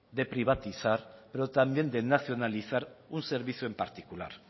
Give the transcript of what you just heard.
de privatizar pero también de nacionalizar un servicio en particular